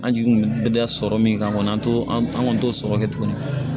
An jigi kun be da sɔrɔ min kan kɔni an to an kɔni t'o sɔrɔ kɛ tuguni